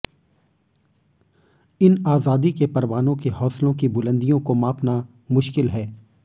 इन आजादी के परवानों के हौसलों की बुलंदियों को मापना मुश्किल है